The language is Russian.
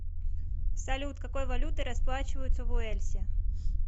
салют какой валютой расплачиваются в уэльсе